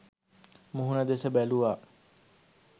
මුහුණ දෙස බැලූවා.